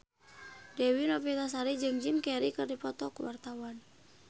Dewi Novitasari jeung Jim Carey keur dipoto ku wartawan